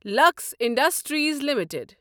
Lux industries limited